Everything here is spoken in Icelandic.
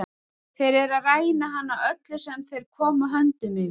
Þeir eru að ræna hann öllu sem þeir koma höndum yfir.